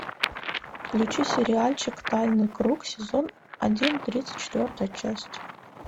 включи сериальчик тайный круг сезон один тридцать четвертая часть